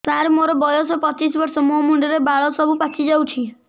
ସାର ମୋର ବୟସ ପଚିଶି ବର୍ଷ ମୋ ମୁଣ୍ଡରେ ବାଳ ସବୁ ପାଚି ଯାଉଛି